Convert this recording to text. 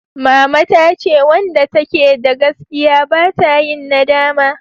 Mama ta ce wanda ta ke da gaskiya ba ta yin nadama